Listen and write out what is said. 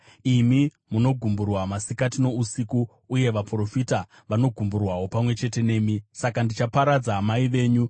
Imi munogumburwa masikati nousiku, uye vaprofita vanogumburwawo pamwe chete nemi. Saka ndichaparadza mai venyu.